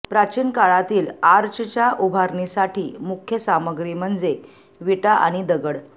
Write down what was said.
प्राचीन काळातील आर्चच्या उभारणीसाठी मुख्य सामग्री म्हणजे विटा आणि दगड